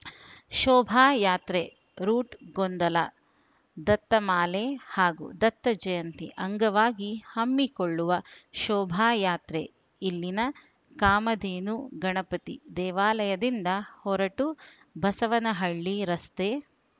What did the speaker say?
ಶೋಭಾಯಾತ್ರೆ ರೂಟ್‌ ಗೊಂದಲ ದತ್ತಮಾಲೆ ಹಾಗೂ ದತ್ತ ಜಯಂತಿ ಅಂಗವಾಗಿ ಹಮ್ಮಿಕೊಳ್ಳುವ ಶೋಭಾಯಾತ್ರೆ ಇಲ್ಲಿನ ಕಾಮಧೇನು ಗಣಪತಿ ದೇವಾಲಯದಿಂದ ಹೊರಟು ಬಸವನಹಳ್ಳಿ ರಸ್ತೆ